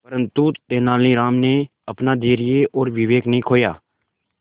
परंतु तेलानी राम ने अपना धैर्य और विवेक नहीं खोया